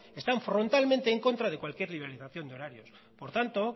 están frontalmente en contra de cualquier liberalización de horarios por tanto